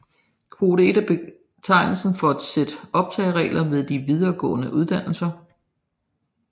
Kvote 1 er betegnelsen for et sæt optagelsesregler ved de videregående uddannelser